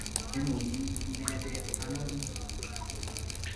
Imuchi inetite ano ni?